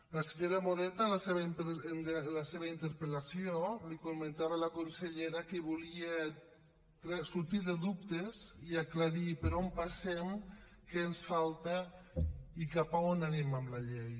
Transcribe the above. la senyora moreta en la seva interpel·lació comentava a la consellera que volia sortir de dubtes i aclarir per on passem què ens falta i cap a on anem amb la llei